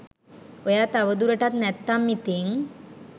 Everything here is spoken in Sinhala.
ඔයා තව දුරටත් නැත්නම් ඉතින්